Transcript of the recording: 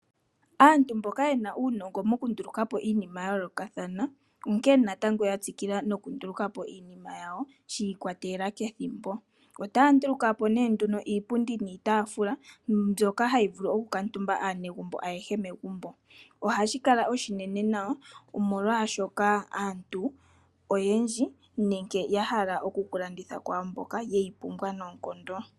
Aantu mboka ye na uunongo mokunduluka po iinima ya yoolokathana onkene natango ya tsikila nokunduluka po iinima yawo shi ikwatelela kethimbo. Otaya nduluka po nduno iipundi niitaafula mbyoka hayi vulu okukuutumbwa kaanegumbo ayehe megumbo. Ohashi kala oshinene nawa, omolwaashoka aantu oyendji nenge ya hala oku ka landitha kwaa mboka ye yi pumbwa noonkondo.